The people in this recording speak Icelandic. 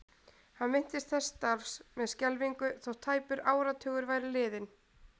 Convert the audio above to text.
Hann minntist þessa starfs með skelfingu þótt tæpur áratugur væri liðinn.